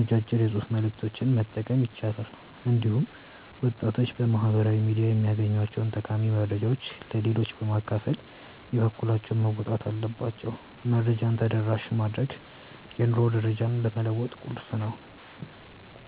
አጫጭር የጽሑፍ መልዕክቶችን መጠቀም ይቻላል። እንዲሁም ወጣቶች በማኅበራዊ ሚዲያ የሚያገኟቸውን ጠቃሚ መረጃዎች ለሌላው በማካፈል የበኩላቸውን መወጣት አለባቸው። መረጃን ተደራሽ ማድረግ የኑሮ ደረጃን ለመለወጥ ቁልፍ ነው።